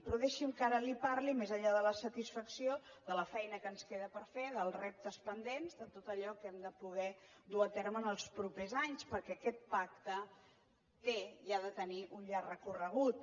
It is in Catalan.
però deixi’m que ara li parli més enllà de la satisfacció de la feina que ens queda per fer dels reptes pendents de tot allò que hem de poder dur a terme en els propers anys perquè aquest pacte té i ha de tenir un llarg recorregut